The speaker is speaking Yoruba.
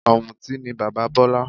Ọ̀mùtí ni bàbá Bola